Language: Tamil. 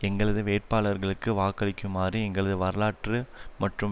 எங்களது வேட்பாளர்களுக்கு வாக்களிக்குமாறும் எங்களது வரலாற்று மற்றும்